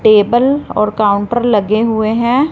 Table और counter लगे हुए हैं।